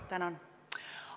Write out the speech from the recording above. Tänan!